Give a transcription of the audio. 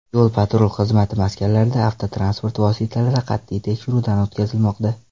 Yo‘l-patrul xizmati maskanlarida avtotransport vositalari qat’iy tekshiruvdan o‘tkazilmoqda.